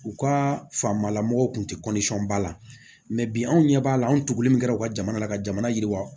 U ka faama lamɔgɔw kun tɛ ba la bi anw ɲɛ b'a la anw tugulen min kɛra u ka jamana la ka jamana yiriwa